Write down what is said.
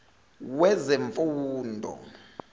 wezemfundo